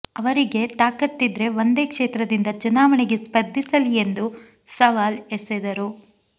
ಅವರಿಗೆ ತಾಕತ್ತಿದ್ರೆ ಒಂದೇ ಕ್ಷೇತ್ರದಿಂದ ಚುನಾವಣೆಗೆ ಸ್ಪರ್ಧಿಸಲಿ ಎಂದು ಸವಾಲ್ ಎಸೆದರು